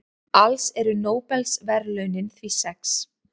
Alls eru Nóbelsverðlaunin því sex.